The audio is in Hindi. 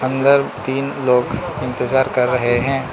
अंदर तीन लोग इंतजार कर रहे हैं।